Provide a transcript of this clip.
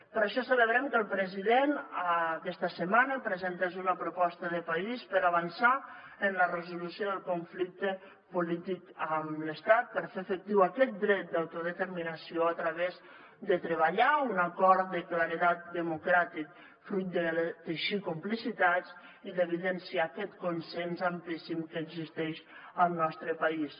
per això celebrem que el president aquesta setmana presentés una proposta de país per avançar en la resolució del conflicte polític amb l’estat per fer efectiu aquest dret d’autodeterminació a través de treballar un acord de claredat democràtic fruit de teixir complicitats i d’evidenciar aquest consens amplíssim que existeix al nostre país